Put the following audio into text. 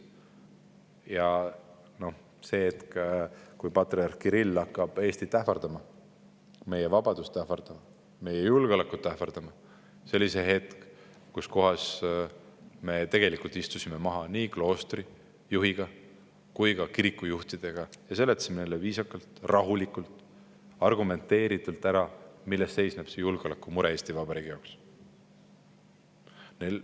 Ja see hetk, kui patriarh Kirill hakkas Eestit ähvardama, meie vabadust ähvardama, meie julgeolekut ähvardama, oli see hetk, kui me istusime maha nii kloostri juhiga kui ka kirikujuhtidega ning seletasime neile viisakalt, rahulikult ja argumenteeritult ära, milles seisneb julgeolekumure Eesti Vabariigi jaoks.